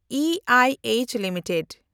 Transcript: ᱤᱟᱭᱮᱪ limited